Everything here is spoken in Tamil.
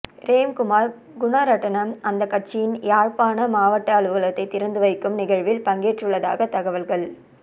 ரேம்குமார் குணரட்னம் அந்த கட்சியின் யாழ்ப்பாண மாவட்ட அலுவலகத்தை திறந்து வைக்கும் நிகழ்வில் பங்கேற்றுள்ளதாக தகவல்கள்